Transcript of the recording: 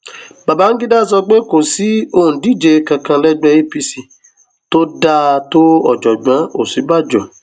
babangida sọ pé kò sí òǹdíje kankan lẹgbẹ apc tó dáa tó ọjọgbọn òsínbàjò